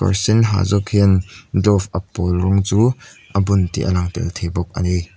kawr sen ha zawk hian glove a pawl rawng chu a bun tih a lang tel thei bawk ani.